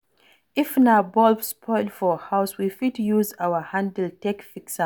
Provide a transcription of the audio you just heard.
If na bulb spoil for house, we fit use our hand take fix am